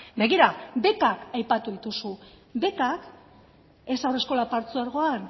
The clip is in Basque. begira bekak aipatu dituzu bekak ez haurreskola partzuegoan